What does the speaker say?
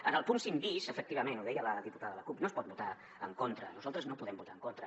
en el punt cinc bis efectivament ho deia la diputada de la cup no s’hi pot votar en contra nosaltres no hi podem votar en contra